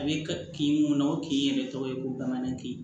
A bɛ ka kin mun na o kin yɛrɛ tɔgɔ ye ko bamanankan ye